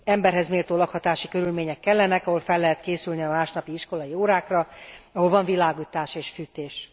Emberhez méltó lakhatási körülmények kellenek, ahol fel lehet készülni a másnapi iskolai órákra, ahol van világítás és fűtés.